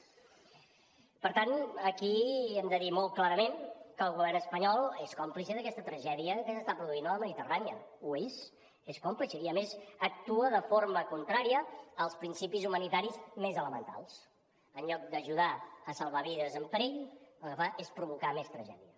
per tant aquí hem de dir molt clarament que el govern espanyol és còmplice d’aquesta tragèdia que s’està produint a la mediterrània ho és és còmplice i a més actua de forma contrària als principis humanitaris més elementals en lloc d’ajudar a salvar vides en perill el que fa és provocar més tragèdia